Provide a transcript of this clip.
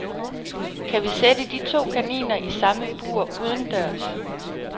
Kan vi sætte de to kaniner i samme bur udendørs.